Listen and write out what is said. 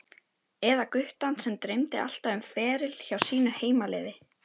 Eða guttann sem dreymdi alltaf um feril hjá sínu heimaliði?